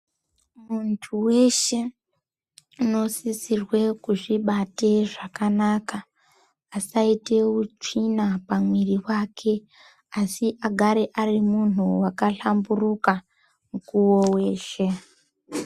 Muntu weshe unosisirwe kuzvibate zvakanaka asaite, utsvina pamuiri wake, asi agare arimunhu wakahlamburuka mukuwo weshe.